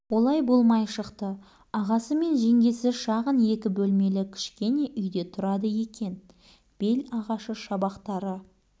олай болмай шықты ағасы мен жеңгесі шағын екі бөлмелі кішкене үйде тұрады екен бел ағашы шабақтары